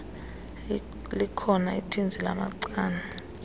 likhona ithinzi lamacala